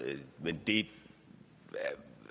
men det